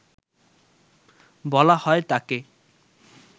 বলা হয় তাঁকে